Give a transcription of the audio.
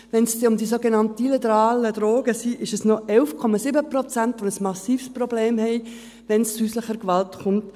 Wenn es dann um die sogenannten illegalen Drogen geht, sind es noch 11,7 Prozent, die ein massives Problem haben, wenn es zu häuslicher Gewalt kommt.